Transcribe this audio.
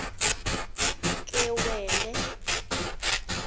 kewele